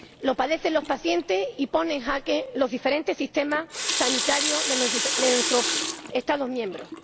Lo padecen los pacientes y pone en jaque los diferentes sistemas sanitarios de nuestros Estados miembros.